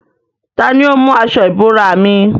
Tani ó mú aṣọ ìbora mi?